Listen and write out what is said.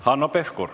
Hanno Pevkur.